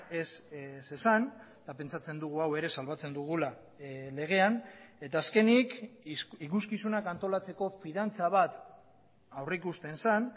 ez zezan eta pentsatzen dugu hau ere salbatzen dugula legean eta azkenik ikuskizunak antolatzeko fidantza bat aurrikusten zen